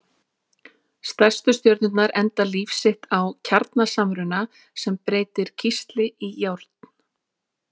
Stærstu stjörnurnar enda líf sitt á kjarnasamruna sem breytir kísli í járn.